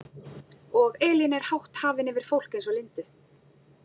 Og Elín er hátt hafin yfir fólk eins og Lindu.